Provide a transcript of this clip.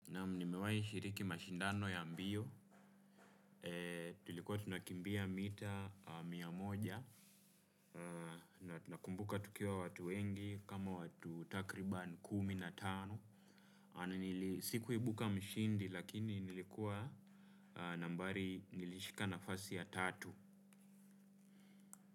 Naam nmewai shiriki mashindano ya mbio, tulkua tunakimbia mita mia moja na nakumbuka tukiwa watu wengi kama watu takriban kumi na tano na nili sikuibuka mshindi lakini nlikua nambari nlishika nafasi ya tatu.